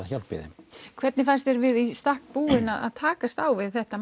hjálp í þeim hvernig fannst þér við í stakk búin að takast á við þetta